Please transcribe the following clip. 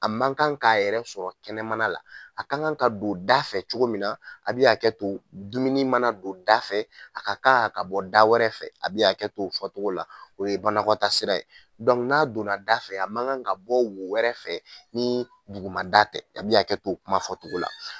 A ma kan k'a yɛrɛ sɔrɔ kɛnɛmana la, a ka ŋan ka don da fɛ cogo min na a' bi hakɛto, dumuni mana don da fɛ, a ka ka a ka bɔ da wɛrɛ fɛ. A' bi hakɛt'o fɔtogo la, o ye banakɔta sira ye. n'a donna da fɛ a ma kan ka bɔ wo wɛrɛ fɛ nii duguma da tɛ. A' bi hakɛt'o kuma fɔtogo la.